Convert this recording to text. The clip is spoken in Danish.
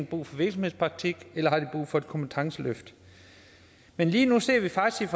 brug for virksomhedspraktik eller har brug for et kompetenceløft men lige nu sidder vi faktisk